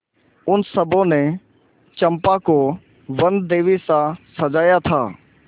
उन सबों ने चंपा को वनदेवीसा सजाया था